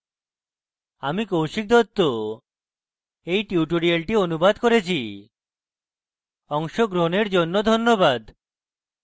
আমি কৌশিক দত্ত এই টিউটোরিয়ালটি অনুবাদ করেছি অংশগ্রহনের জন্য ধন্যবাদ